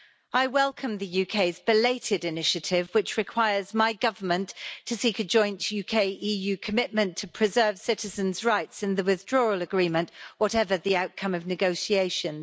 I welcome the UK's belated initiative, which requires my Government to seek a joint UK-EU commitment to preserving citizens' rights in the withdrawal agreement, whatever the outcome of negotiations.